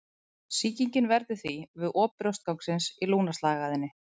Sýkingin verður því við op brjóstgangsins í lungnaslagæðinni.